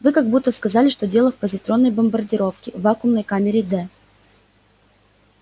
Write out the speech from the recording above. вы как будто сказали что дело в позитронной бомбардировке в вакуумной камере д